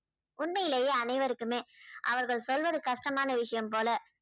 உண்மையிலேயே அனைவருக்குமே அவர்கள் சொல்வது கஷ்டமான விஷயம் போல